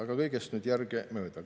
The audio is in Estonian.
Aga nüüd kõigest järgemööda.